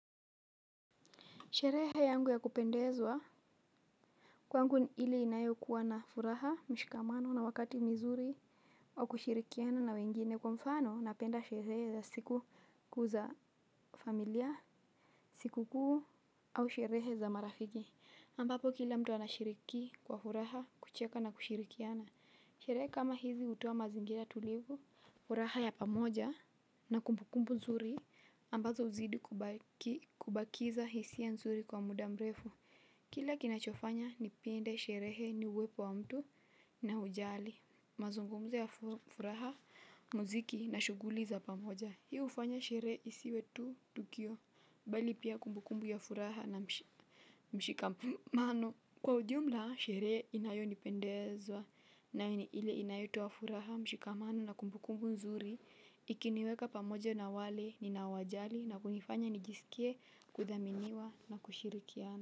Sherehe yangu ya kupendezwa kwangu ile inayokuwa na furaha, mshikamano na wakati mizuri au kushirikiana na wengine kwa mfano napenda sherehe za siku kuu za familia, siku kuu au sherehe za marafiki ambapo kila mtu anashiriki kwa furaha, kucheka na kushirikiana. Sherehe kama hizi hutoa mazingira tulivu, furaha ya pamoja na kumbukumbu zuri ambazo huzidi kubakiza hisia nzuri kwa muda mrefu. Kila kinachofanya nipende sherehe ni uwepo wa mtu na ujali, mazungumzo ya furaha, muziki na shughuli za pamoja. Hii hufanya sherehe isiwe tu, tukio, bali pia kumbukumbu ya furaha na mshikamano. Kwa ujumla, sherehe inayonipendezwa nae ni ile inayotoa furaha, mshikamano na kumbukumbu nzuri. Ikiniweka pamoja na wale ninaowajali na kunifanya nijisikie, kuthaminiwa na kushirikiana.